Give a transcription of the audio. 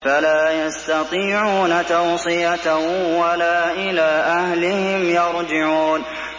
فَلَا يَسْتَطِيعُونَ تَوْصِيَةً وَلَا إِلَىٰ أَهْلِهِمْ يَرْجِعُونَ